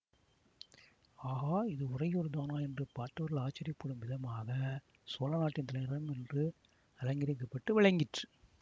ஆகா இது உறையூர்தானா என்று பார்த்தவர்கள் ஆச்சரியப்படும் விதமாக சோழ நாட்டின் தலைநகரம் அன்று அலங்கரிக்கப்பட்டு விளங்கிற்று